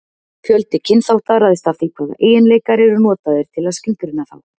Fjöldi kynþátta ræðst af því hvaða eiginleikar eru notaðir til að skilgreina þá.